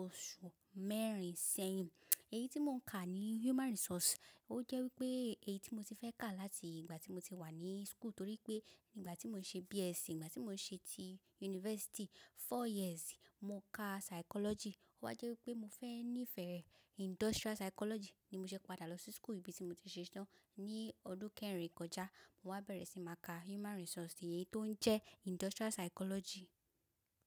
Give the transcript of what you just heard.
oṣù mẹ́rin sẹ́yìn. Èyí tí mò ń ka ni Human Resource, ó jẹ́ wípé èyí tí mo ti fẹ́ kà láti ìgbà tí mo ti wà ní school torí pé nígbà tí mò ń ṣe BSc, ìgbà tí mò ń ṣe ti university four years, mo ka psychology. Ó wa jẹ́ wípé mo fẹ́ ní ìfẹ́ industrial psychology ni mo ṣe padà lọ sí school ibi tí mo ti ṣe tán ní ọdún kẹrin kọjá. Mo wá bẹ̀rẹ̀ sí máa ka Human Resource èyí tó ń jẹ́ industrial psychology.